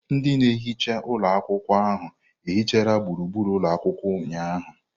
Ndị na-ehicha ụlọ akwụkwọ ahụ hichara gburugburu ụlọ akwụkwọ ụnyahụ.